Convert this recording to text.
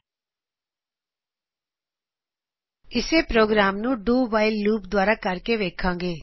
ਹੁਣ ਅਸੀ ਇੱਸੇ ਪ੍ਰੋਗਰਾਮ ਨੂੰ ਡੂ ਵਾਇਲ ਲੂਪ doਵਾਈਲ ਲੂਪ ਦ੍ਵਾਰਾ ਕਰ ਕੇ ਵੇਖਾਗੇ